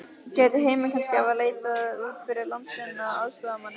Gæti Heimir kannski hafa leitað út fyrir landsteinana að aðstoðarmanni?